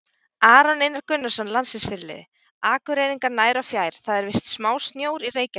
Aron Einar Gunnarsson, landsliðsfyrirliði: Akureyringar nær og fjær það er vist smá snjór í reykjavík.